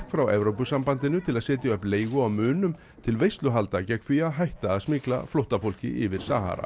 frá Evrópusambandinu til að setja upp leigu á munum til veisluhalda gegn því að hætta að smygla flóttafólki yfir Sahara